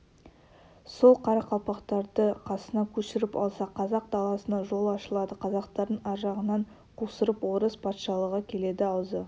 сол қарақалпақтарды қасына көшіріп алса қазақ даласына жол ашылады қазақтардың аржағынан қусырып орыс патшалығы келеді аузы